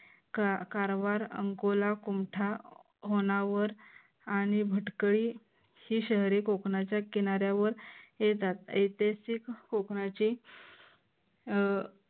कारवार अंकोला कुंठा होनावर आणि भटकळी ही शहरे कोकनाच्या किनाऱ्यावर येतात ऐतिहासिक कोकणाचे अह